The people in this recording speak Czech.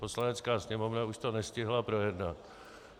Poslanecká sněmovna už to nestihla projednat.